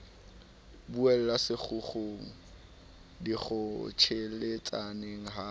e buela sekgukgung dikgotjheletsaneng ha